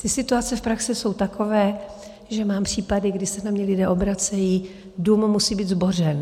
Ty situace v praxi jsou takové, že mám případy, kdy se na mě lidé obracejí, dům musí být zbořen.